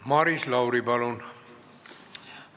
Maris Lauri, palun!